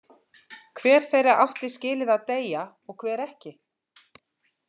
Hver þeirra átti skilið að deyja og hver ekki?